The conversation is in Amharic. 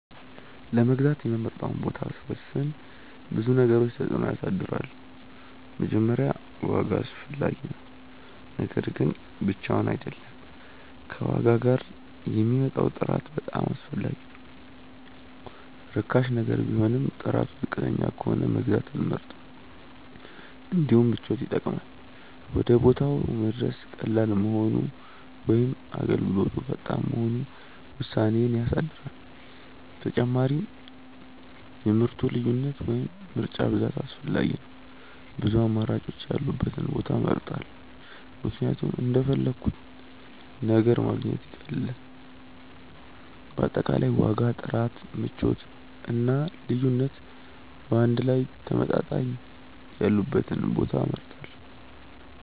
ለመግዛት የምመርጠውን ቦታ ሲወስን ብዙ ነገሮች ተጽዕኖ ያሳድራሉ። መጀመሪያ ዋጋ አስፈላጊ ነው፤ ነገር ግን ብቻውን አይደለም፣ ከዋጋ ጋር የሚመጣው ጥራት በጣም አስፈላጊ ነው። ርካሽ ነገር ቢሆንም ጥራቱ ዝቅተኛ ከሆነ መግዛት አልመርጥም። እንዲሁም ምቾት ይጠቅማል፤ ወደ ቦታው መድረስ ቀላል መሆኑ ወይም አገልግሎቱ ፈጣን መሆኑ ውሳኔዬን ያሳድራል። ተጨማሪም የምርቱ ልዩነት ወይም ምርጫ ብዛት አስፈላጊ ነው፤ ብዙ አማራጮች ያሉበትን ቦታ እመርጣለሁ ምክንያቱም እንደፈለግሁት ነገር ማግኘት ይቀላል። በአጠቃላይ ዋጋ፣ ጥራት፣ ምቾት እና ልዩነት በአንድ ላይ ተመጣጣኝ ያሉበትን ቦታ እመርጣለሁ።